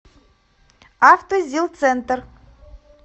автозилцентр